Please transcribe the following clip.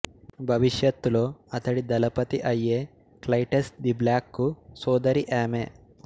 భవిష్యత్తులో అతడి దళపతి అయ్యే క్లైటస్ ది బ్లాక్ కు సోదరి ఆమె